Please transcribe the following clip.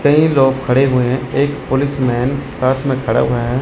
कई लोग खड़े हुए हैं एक पुलिसमैन साथ में खड़ा हुआ है।